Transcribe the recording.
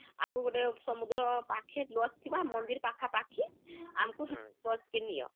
ଆମକୁ ଗୋଟେ ସମୁଦ୍ର ପାଖେlodge ଥିବା , ମନ୍ଦିର ପାଖା ପାଖି ହୁଁ ଆମକୁ .....lodge କେ ନିଅ